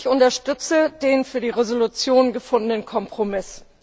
Ich unterstütze den für die Resolution gefundenen Kompromiss.